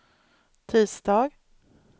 tisdag